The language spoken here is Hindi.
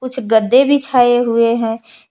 कुछ गद्दे बिछाए हुए हैं।